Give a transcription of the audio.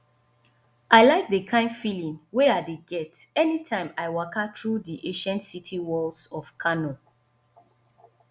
i like d kind feeling wey i dey get anytime i waka through di ancient city walls of kano